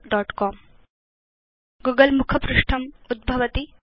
Google मुखपृष्ठम् उद्भवति